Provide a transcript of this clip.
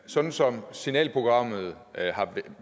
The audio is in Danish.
sådan som signalprogrammet har